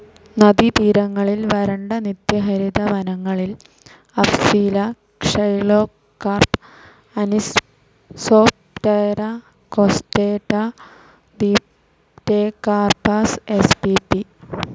നദീതീരങ്ങളിൽ വരണ്ട നിത്യഹരിത വനങ്ങളിൽ Afzelia xylocarpa, Anisoptera costata, Dipterocarpus spp.